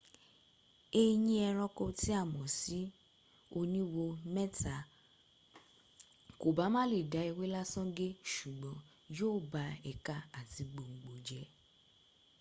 eyín ẹranko tí a mọ̀ sí oníwo mẹta kòbá má lè da ewé lásán gé ṣùgbọ́n yóò ba ẹ̀ka àti gbòngbò jẹ